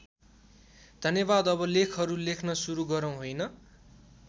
धन्यवाद अब लेखहरू लेख्न सुरु गरौँ होइन?